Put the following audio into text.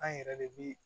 An yɛrɛ de bi